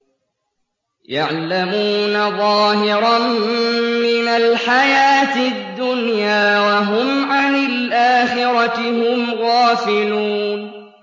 يَعْلَمُونَ ظَاهِرًا مِّنَ الْحَيَاةِ الدُّنْيَا وَهُمْ عَنِ الْآخِرَةِ هُمْ غَافِلُونَ